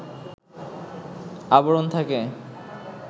আবরণ থাকে